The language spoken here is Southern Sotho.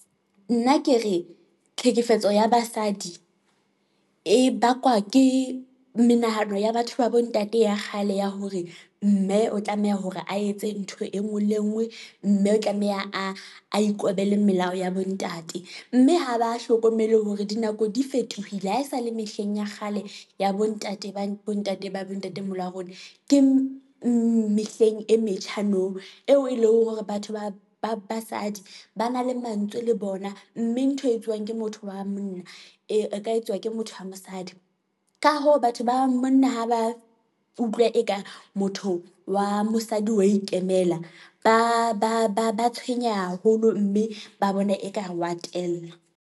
Nna ke re tlhekefetso ya basadi e bakwa ke menahano ya batho ba bo ntate ya kgale ya hore, mme o tlameha hore a etse ntho engwe le ngwe, mme o tlameha ro a ikobele melao ya bo ntate, mme ha ba hlokomele hore dinako di fetohile ha esale mehleng ya kgale, ya bo ntate ba bo ntate ba bo ntatemoholo wa rona, ke mehleng e metjha nou eo e leng hore batho ba basadi ba na le mantswe le bona, mme ntho e etsuwang ke motho wa monna, e ka etswa ke motho wa mosadi. Ka hoo, batho ba monna ha ba utlwa eka motho wa mosadi, wa ikemela ba tshwenya haholo, mme ba bona ekare wa tella.